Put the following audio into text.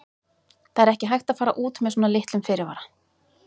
Það er ekki hægt að fara út með svona litlum fyrirvara.